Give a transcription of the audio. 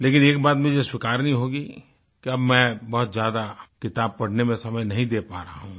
लेकिन एक बात मुझे स्वीकारनी होगी कि अब मैं बहुत ज्यादा किताब पढ़ने में समय नहीं दे पा रहा हूँ